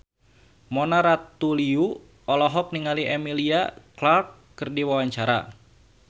Mona Ratuliu olohok ningali Emilia Clarke keur diwawancara